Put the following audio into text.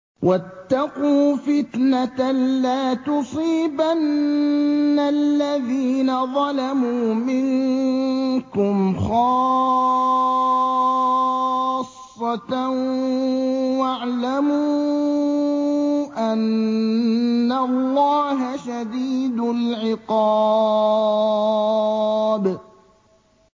وَاتَّقُوا فِتْنَةً لَّا تُصِيبَنَّ الَّذِينَ ظَلَمُوا مِنكُمْ خَاصَّةً ۖ وَاعْلَمُوا أَنَّ اللَّهَ شَدِيدُ الْعِقَابِ